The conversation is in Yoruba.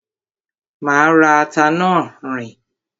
Má rẹ́ ata náà, riín.